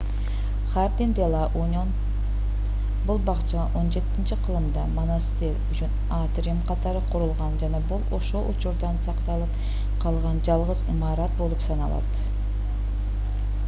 хардин-де-ла-уньон бул бакча 17-кылымда монастырь үчүн атриум катары курулган жана бул ошол учурдан сакталып калган жалгыз имарат болуп саналат